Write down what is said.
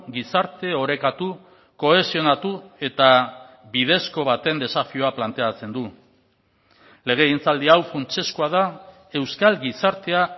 gizarte orekatu kohesionatu eta bidezko baten desafioa planteatzen du legegintzaldi hau funtsezkoa da euskal gizartea